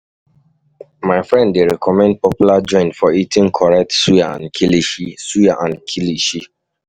My friend dey recommend popular joint for eating correct suya and kilishi. suya and kilishi.